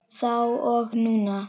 Þá og núna.